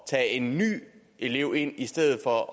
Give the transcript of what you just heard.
tage en ny elev ind i stedet for at